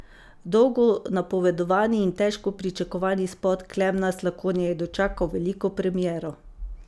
Dolgo napovedovani in težko pričakovani spot Klemena Slakonje je dočakal veliko premiero.